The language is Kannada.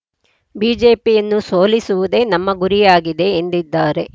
ಬಿಜೆಪಿಯನ್ನು ಸೋಲಿಸುವುದೇ ನಮ್ಮ ಗುರಿಯಾಗಿದೆ ಎಂದಿದ್ದಾರೆ